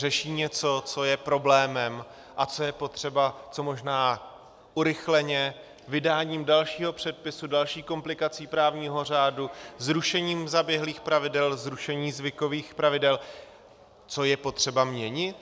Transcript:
Řeší něco, co je problémem a co je potřeba co možná urychleně, vydáním dalšího předpisu, další komplikací právního řádu, zrušením zaběhlých pravidel, zrušením zvykových pravidel, co je potřeba měnit?